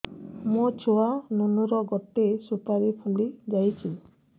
ମୋ ଛୁଆ ନୁନୁ ର ଗଟେ ସୁପାରୀ ଫୁଲି ଯାଇଛି